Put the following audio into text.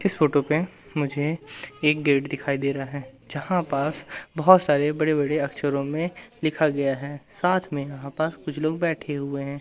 इस फोटो पे मुझे एक गेट दिखाई दे रहा है जहां पास बहुत सारे बड़े बड़े अक्षरों में लिखा गया है साथ में यहां पास कुछ लोग बैठे हुए हैं।